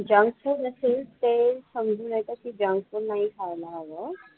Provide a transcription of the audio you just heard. Junk food असेल ते समजून येतं की junk food नाही खायला घालतं.